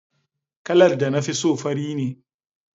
Kalar da na fi so fari ne.